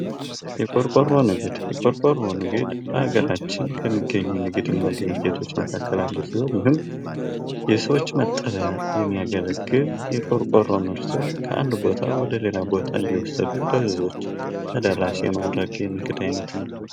የቅርቆሮ ንግድ የቆረቆረው ንግድ በአገራችን ከሚገኙ ንግድና ድርጅቶች መካከል አንዱ ሲሆን የሰዎች መጠለያ የሚያገለግል ቆርቆሮ ምርትን ከአንድ ቦታ ወደ ሌላ ቦታ እየወሰዱ ለህዝቦች ተደራሽ የሚያደርግ የንግድ አይነት ነው ::